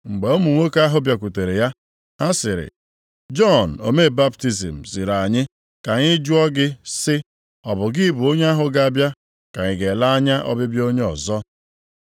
Mgbe ụmụ nwoke ahụ bịakwutere ya, ha sịrị, “Jọn omee baptizim ziri anyị ka anyị jụọ gị sị, ‘Ọ bụ gị bụ onye ahụ ga-abịa ka anyị ga-ele anya ọbịbịa onye ọzọ?’ ”